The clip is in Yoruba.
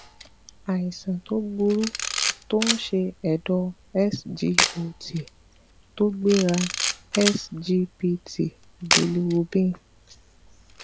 àìsàn to buru tó ń ṣe ẹdọ sgot to gbera sgpt bilrubin